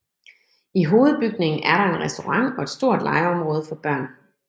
I hovedbygningen er der en restaurant og et stort legeområde for børn